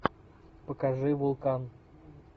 покажи вулкан